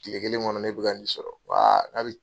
Tile kelen kɔnɔ ne bɛ ka ni sɔrɔ